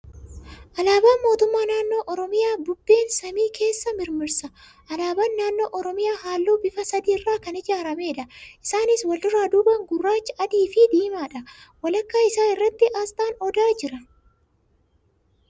Alaabaan Mootummaa Naannoo Oromiyaa bubbeen samii keessa mirmirsa. Alaabaan naannoo Oromiyaa halluu bifa sadii irraa kan ijaarameedha. Isaaniis walduraa duubaan gurraacha, adii fi diimaadha. Walakkaa isaa irratti asxaan odaa jira.